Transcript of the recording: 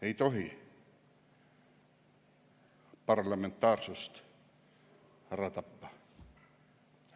Ei tohi parlamentaarsust ära tappa.